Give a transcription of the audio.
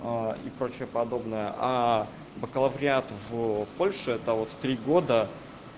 и прочее подобное бакалавриат в польше это вот три года